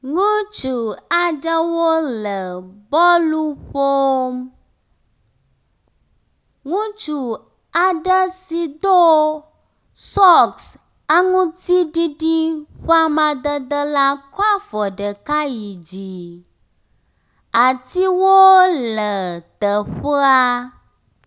Ŋutsu aɖewo le bɔlu ƒom. Ŋutsu aɖe si do sɔks aŋutsiɖiɖi ƒe amadede la kɔ afɔ ɖeka yid zi. Atiwo le teƒea.